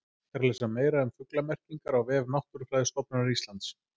Hægt er að lesa meira um fuglamerkingar á vef Náttúrufræðistofnunar Íslands.